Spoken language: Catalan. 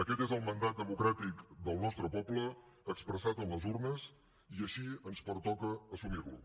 aquest és el mandat democràtic del nostre poble expressat a les urnes i així ens pertoca assumirlo